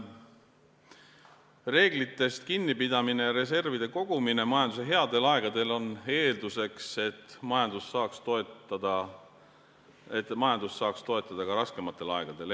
Reeglitest kinnipidamine ja reservide kogumine majanduse headel aegadel on eelduseks, et majandust saaks toetada ka raskematel aegadel.